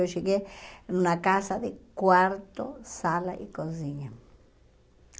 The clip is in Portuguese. Eu cheguei numa casa de quarto, sala e cozinha.